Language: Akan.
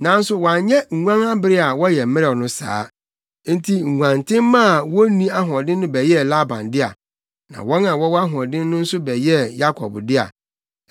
Nanso wanyɛ nguan abere a wɔyɛ mmerɛw no saa. Enti nguantenmma a wonni ahoɔden no bɛyɛɛ Laban dea, na wɔn a wɔwɔ ahoɔden no nso bɛyɛɛ Yakob dea.